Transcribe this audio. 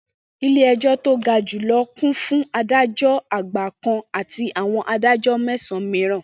Ilé-ẹjọ́ to ga jù lọ kún fi Adájọ́ Àgbà kan àti àwọn Adájọ́ mẹ́sàn-an mìíràn.